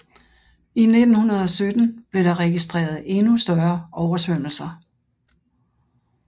I 1917 blev der registreret endnu større oversvømmelser